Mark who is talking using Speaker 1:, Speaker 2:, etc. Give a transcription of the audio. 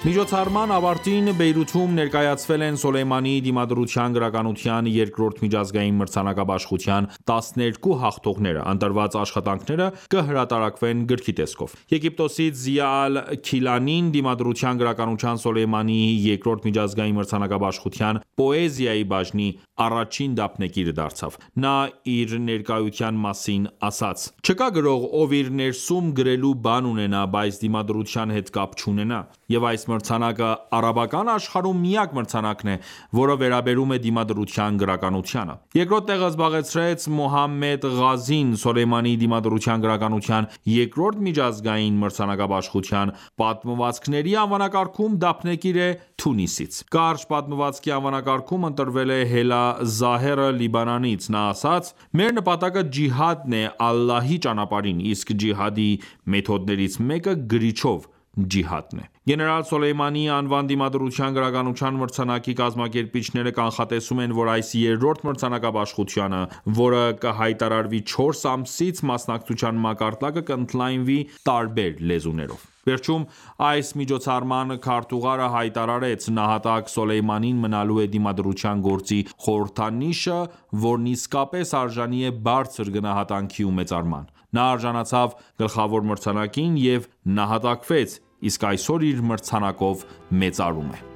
Speaker 1: Միջոցառման ավարտին Բեյրութում ներկայացվել են Սոլեյմանիի դիմադրության գրականության 2-րդ միջազգային մրցանակաբաշխության 12 հաղթողները։ Ընտրված աշխատանքները կհրատարակվեն գրքի տեսքով: Եգիպտոսից Զիա Ալ-Քիլանին դիմադրության գրականության Սոլեյմանիի 2-րդ միջազգային մրցանակաբաշխության պոեզիայի բաժնի առաջին դափնեկիր դարձավ: Նա իր ներկայության մասին ասաց. «Չկա գրող, ով իր ներսում գրելու բան ունենա, բայց դիմադրության հետ կապ չունենա։ Եվ այս մրցանակը արաբական աշխարհում միակ մրցանակն է, որը վերաբերում է դիմադրության գրականությանը»: Երկրորդ տեղը զբաղեցրած Մուհամմեդ Ղազին, Սոլեյմանիի դիմադրության գրականության երկրորդ միջազգային մրցանակաբաշխության պատմվածքների անվանակարգում դափնեկիր է Թունիսից։ Կարճ պատմվածքի անվանակարգում ընտրվել է Հելա Զահերը Լիբանանից: Նա ասաց. «Մեր նպատակը ջիհադն է Ալլահի ճանապարհին, իսկ Ջիհադի մեթոդներից մեկը գրիչով ջիհադն է»։ Գեներալ Սոլեյմանիի անվան դիմադրության գրականության մրցանակի կազմակերպիչները կանխատեսում են, որ այս 3-րդ մրցանակաբաշխությանը, որը կհայտարարվի չորս ամսից, մասնակցության մակարդակը կընդլայնվի տարբեր լեզուներով։ Վերջում այս միջոցառման քարտուղարը հայտարարեց. «Նահատակ Սոլեյմանին մնալու է դիմադրության գործի խորհրդանիշը, որն իսկապես արժանի է բարձր գնահատանքի ու մեծարման։ Նա արժանացավ գլխավոր մրցանակին և նահատակվեց, իսկ այսօր իր մրցանակով մեծարում է